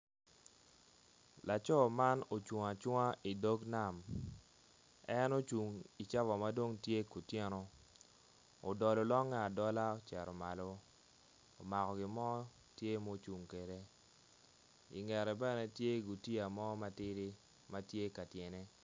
Laco man ocung acunga i dog nam en ocung i cawa madong tye ku tyeno udolo longe adola ocito malo omako gi mo tye mucung kede ingete bene tye gutiya mo matidi mo matidi ma tye ka tyene